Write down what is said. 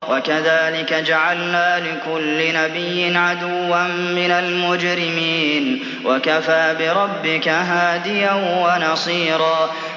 وَكَذَٰلِكَ جَعَلْنَا لِكُلِّ نَبِيٍّ عَدُوًّا مِّنَ الْمُجْرِمِينَ ۗ وَكَفَىٰ بِرَبِّكَ هَادِيًا وَنَصِيرًا